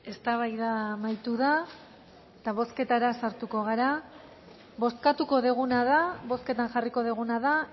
eztabaida amaitu da eta bozketara sartuko gara bozkatuko duguna da bozketan jarriko duguna da